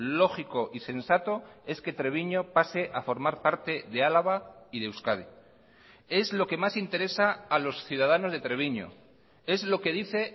lógico y sensato es que treviño pase a formar parte de álava y de euskadi es lo que más interesa a los ciudadanos de treviño es lo que dice